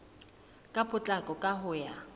ka potlako ka ho ya